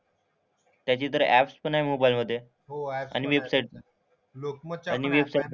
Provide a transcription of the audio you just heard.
त्याची तर ऍप्स पण आहे मोबाइलमधे. आणि वेबसाईट पण. आणि वेबसाईटपण लोकमत.